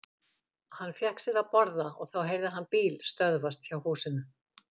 Hann fékk sér að borða og þá heyrði hann bíl stöðvast hjá húsinu.